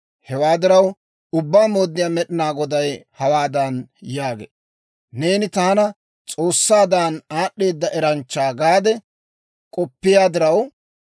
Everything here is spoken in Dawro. « ‹Hewaa diraw, Ubbaa Mooddiyaa Med'inaa Goday hawaadan yaagee; «Neeni, taani s'oossaadan, aad'd'eeda eranchcha gaade k'oppiyaa diraw,